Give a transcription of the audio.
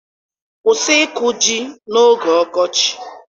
Kwụsị ịkụ ji n'oge ọkọchị!